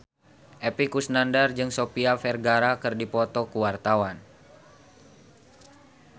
Epy Kusnandar jeung Sofia Vergara keur dipoto ku wartawan